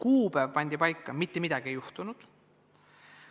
Kuupäev pandi paika, aga mitte midagi ei juhtunud.